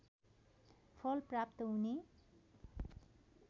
फल प्राप्त हुने